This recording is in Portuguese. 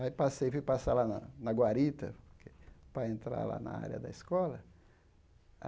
Aí passei, fui passar lá na na Guarita, para entrar lá na área da escola.